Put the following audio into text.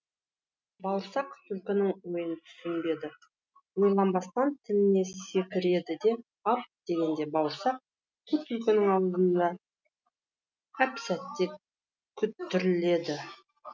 бауырсақ түлкінің ойын түсінбеді ойланбастан тіліне секіреді ап дегенде бауырсақ қу түлкінің азуында әп сәтте күтірледі